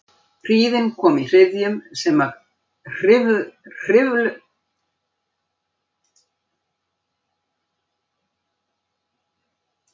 Hríðin kom í hryðjum sem hvirfluðust um okkur með næstum óstæðum ofsa.